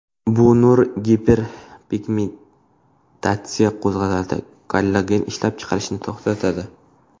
Bu nur giperpigmentatsiyani qo‘zg‘atadi, kollagen ishlab chiqarishni to‘xtatadi.